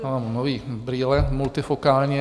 Mám nové brýle, multifokální...